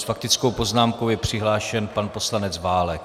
S faktickou poznámkou je přihlášen pan poslanec Válek.